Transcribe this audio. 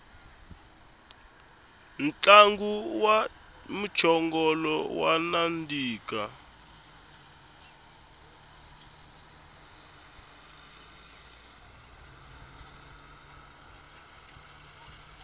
ntlangu wa mchongolo wa nandika